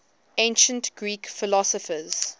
ancient greek philosophers